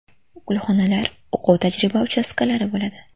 Gulxonalar, o‘quv-tajriba uchastkalari bo‘ladi.